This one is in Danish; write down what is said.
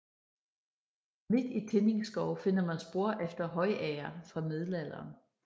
Midt i Tinning Skov finder man spor efter højager fra middelalderen